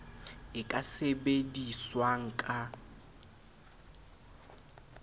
e ka sebedi swang ka